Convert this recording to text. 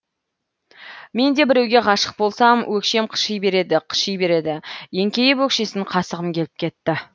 мен де біреуге ғашық болсам өкшем қыши береді қыши береді еңкейіп өкшесін қасығым келіп кетті